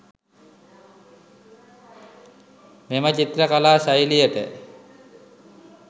මෙම චිත්‍ර කලා ශෛලියට